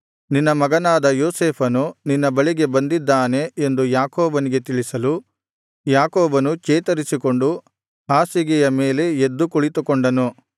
ನಿನ್ನ ಮಗನಾದ ಯೋಸೇಫನು ನಿನ್ನ ಬಳಿಗೆ ಬಂದಿದ್ದಾನೆ ಎಂದು ಯಾಕೋಬನಿಗೆ ತಿಳಿಸಲು ಇಸ್ರಾಯೇಲನು ಚೇತರಿಸಿಕೊಂಡು ಹಾಸಿಗೆಯ ಮೇಲೆ ಎದ್ದು ಕುಳಿತುಕೊಂಡನು